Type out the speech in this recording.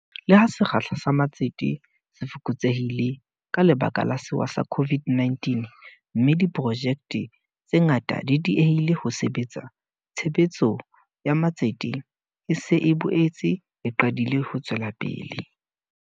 Le ha sekgahla sa matsete se fokotsehile ka lebaka la sewa sa COVID-19, mme diprojekte tse ngata di diehile ho sebetsa, tshebetso ya matsete e se e boetse e qadile ho tswela pele.